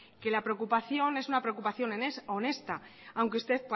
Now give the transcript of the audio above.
que la preocupación es una preocupación honesta aunque usted